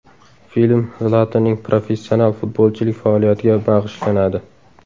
Film Zlatanning professional futbolchilik faoliyatiga bag‘ishlanadi.